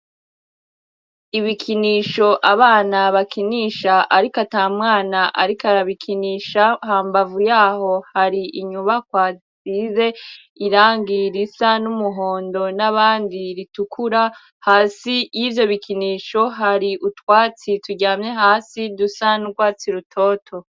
Ibikinisho abana bakinisha ariko ata mwana ariko arabikinisha, hambavu yaho hari inyubakwa zisize irangi risa n'umuhondo n'abandi ritukura, hasi y'ivyo bikinisho hari utwatsi turyamye hasi dusa n'urwatsi rutoto.